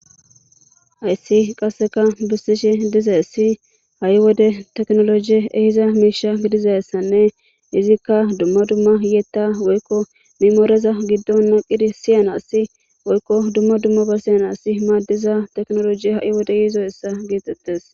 hayssi qasseka bessishi dizayissi ha'i wode teknolojie ehiza miisha gidizayssanne izikka dumma dumma yeetta woykko mimooreza giddon naqiri siyanassi woykko dumma dumma basiyanasi maaddiza teknoloji ha'i wode yiidoyissa getettes